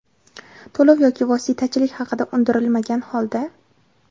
to‘lov yoki vositachilik haqi undirilmagan holda:.